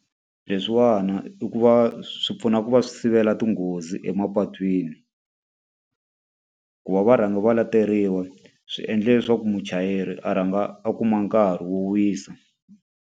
Leswiwani i ku va swi pfuna ku va swi sivela tinghozi emapatwini. Ku va va rhanga va lateriwa swi endla leswaku muchayeri a rhanga a kuma nkarhi wo wisa.